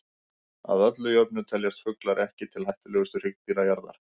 Að öllu jöfnu teljast fuglar ekki til hættulegustu hryggdýra jarðar.